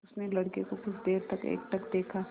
उसने लड़के को कुछ देर तक एकटक देखा